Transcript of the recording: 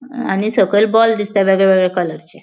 आणि सकयल बॉल दिसता वेगळे वेगळे कलरचे .